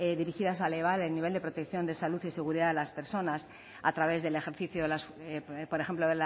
dirigidas a elevar el nivel de protección de salud y seguridad de las personas a través del ejercicio de por ejemplo